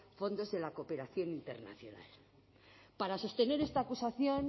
fondos de la cooperación internacional para sostener esta acusación